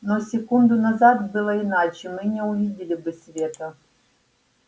но секунду назад было иначе мы не увидели бы света